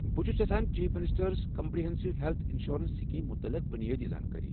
بہٕ چھس یژھان چیف منسٹٲرٕس کمپرہیٚنسو ہیٚلتھ ینشورٮ۪نس سکیٖم متعلق بنیٲدی زانٛکٲری۔